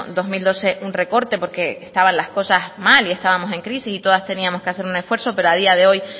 dos mil doce un recorte porque estaban las cosas mal y estábamos en crisis y todas teníamos que hacer un esfuerzo pero a día de hoy